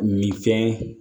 Min fɛn